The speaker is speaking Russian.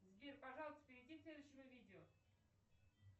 сбер пожалуйста перейди к следующему видео